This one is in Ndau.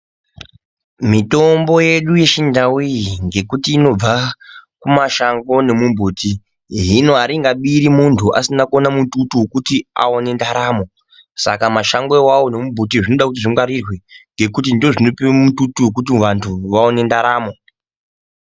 Mitombo yedu yechindau iyi ngekuti inobva kumashango nemumbuti, hino aringabiri muntu asina kuona mututu wekuti aone ndaramo. Saka mashango awawo nemumbuti zvinoda kuti zvingwarirwe ngekuti ndizvinotipe mututu kuti vantu vaone ndaramo.